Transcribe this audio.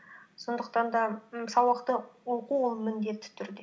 сондықтан да м сабақты оқу ол міндетті түрде